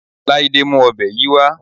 Láídé mú ọ̀bẹ yìí wá